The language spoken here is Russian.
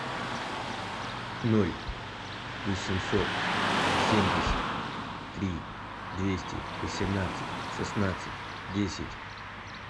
ноль восемьсот семьдесят три двести восемнадцать шестнадцать десять